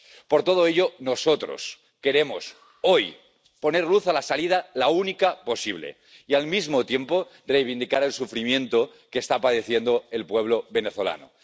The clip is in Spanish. Por todo ello, nosotros queremos —hoy— poner luz a la única salida posible y, al mismo tiempo, reivindicar el sufrimiento que está padeciendo el pueblo venezolano.